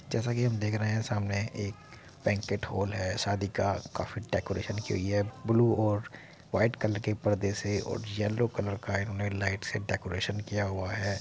जैसे कि हम देख रहे हैं सामने एक बैंकट हॉल है। शादी का काफी डेकोरेशन की हुई है। ब्लू और व्हाइट कलर के पर्दे से और येलो कलर इन्होंने लाइट से डेकोरेशन किया हुआ है।